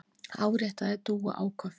áréttaði Dúa áköf.